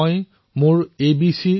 মই বুজি নাপালো যে এই এবিচিৰ অৰ্থ কি